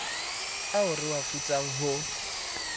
ao re a futsang ho